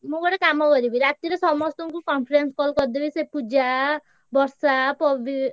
ମୁଁ ଗୋଟେ କାମ କରିବି ରାତିରେ ସମସ୍ତ ଙ୍କୁ conference call କରିଦେବି ସେ ପୂଜା ବର୍ଷା ପବି।